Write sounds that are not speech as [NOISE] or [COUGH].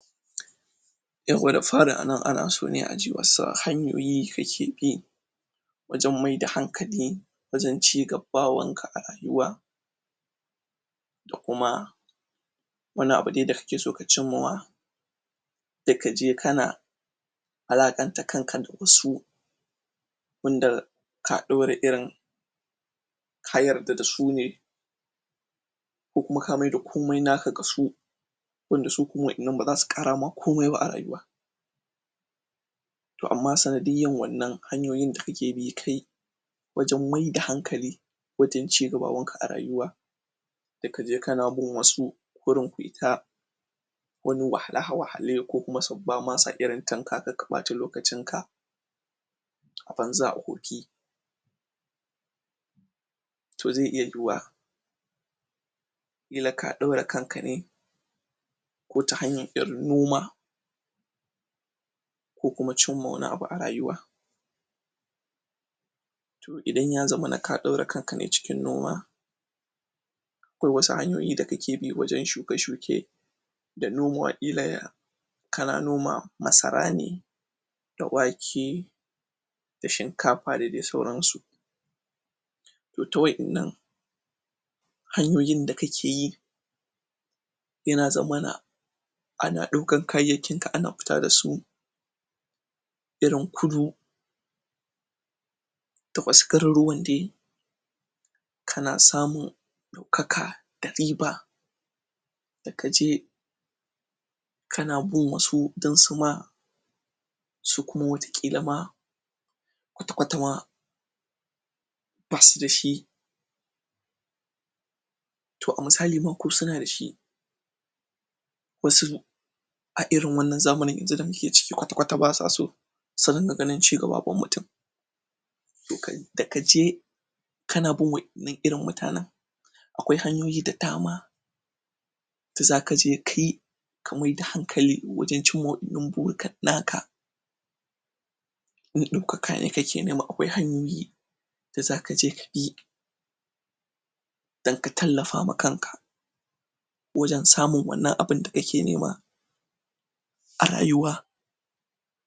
Yawwa da fari a nan, ana so ne a ji wasu hanyoyi kuke bi Wajen mai da hankali, wajen cigabawanka a rayuwa Da kuma Wani abu dai da kake so ka cimmuwa Da ka je kana [INAUDIBLE] da wasu Wanda ka ɗaure irin Ka yarda da su ne Ko kuma ka mai da komai naka ga su wanda su kuma waɗannan baza su ƙara maka komai a rayuwa Toh amma sanidiyar wannan hanyoyin da kake bi kai Wajen mai da hankali, wajen cigabawanka a rayuwa Da ka je ka na bin wasu, wurin fita Wani wahalhale ko kuma sun ba ma san irin tanka ɓata lokacin ka A banza a wofi Toh zai iya yuwa killa Ka ɗaura kan ka ne Ko ta hanyar 'yar noma Ko kuma cimma wani abu a rayuwa Toh idan ya zamana ka ɗore kan ka ne cikin noma Akwai wasu hanyoyi da kake bi wajen shuke shuke Da nomo aƙilaya Ka na noma masara ne da wake da shinkafa da dai sauran su Toh ta waɗannan hanyoyin da kake yi Toh Yana zamana ana ɗaukan kayayyakin ka ana fita da su irin kudu da wasu garuruwan dai kana samun ɗaukaka da riba da ka je ka na bin wasu don su ma su kuma wataƙila ma kwatakwatama ba su da shi toh a misali ma ko suna da shi wasu a irin wannan zamanin yanzu da muke ciki kwatakwata ba sa so su ringa ganin cigabawan mutum da ka je kana bin waɗannan irin mutanen, akwai hanyoyi da dama da za ka je kai ka mai da hankali wajen cimma naka In daukaka ne kake nima, akwai hanyoyi da za ka je ka yi don ka tallafa wa kanka Wajen samun wannan abun da kake nema a rayuwa.